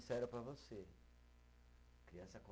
Para você, criança